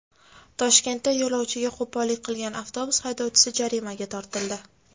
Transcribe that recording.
Toshkentda yo‘lovchiga qo‘pollik qilgan avtobus haydovchisi jarimaga tortildi.